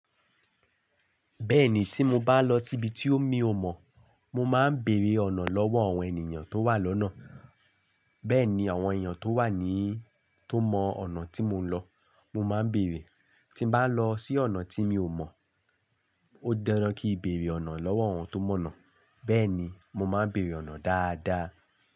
Bẹ́ẹ̀ni, tí mo bá lọ síbi tí mi ò mọ̀, mo máa ń bèrè ọ̀nà lọ́wọ́ àwọn ènìyàn tó wà lọ́nà. Bẹ́ẹ̀ ni àwọn èèyàn tó wà ní, tó mọ ọ̀nà tí mò ń lọ, mo máa ń bèrè. Tí n bá lọ sí ọ̀nà tí mi ò mọ̀, ó di dandan kí n bèrè ọ̀nà lọ́wọ́ àwọn tó mọ̀ ọ̀nà. Bẹ́ẹ̀ni, mo máa ń bèrè ọ̀nà dáadáa.